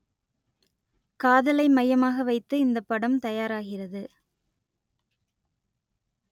காதலை மையமாக வைத்து இந்தப் படம் தயாராகிறது